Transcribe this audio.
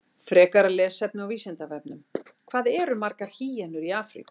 Frekara lesefni á Vísindavefnum: Hvað eru margar hýenur í Afríku?